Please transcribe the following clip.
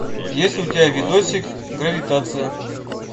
есть ли у тебя видосик гравитация